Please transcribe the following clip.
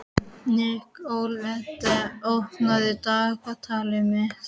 Nikoletta, opnaðu dagatalið mitt.